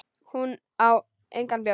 Hún á engan bjór.